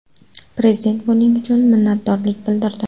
Prezident buning uchun minnatdorlik bildirdi.